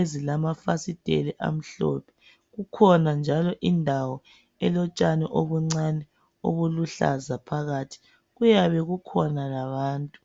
ezilamafasitela amhlophe ,kukhona njalo indawo elotsha obuncane obuluhlaza phakathi kuyabe kukhona labantu.